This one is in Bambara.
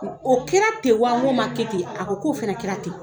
O kɛra ten wa n ko ma kɛ ten a ko k'o fana kɛra ten